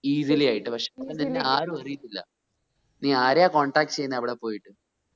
easily ആയിട്ട് പക്ഷെ അപ്പൊ നിന്നെ ആരും അറിയത്തില്ല നീ ആരെയാ contact ചെയ്യുന്നേ അവിടെ പോയിട്ട്